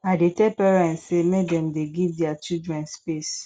i dey tell parents sey make dem dey give their children space